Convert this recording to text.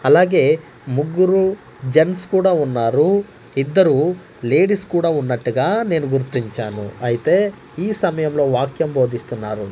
అలాగే ముగ్గురు జెంట్స్ కూడా ఉన్నారు ఇద్దరూ లేడీస్ కూడా ఉన్నట్టుగా నేను గుర్తించాను అయితే ఈ సమయంలో వాక్యం బోధిస్తున్నారు.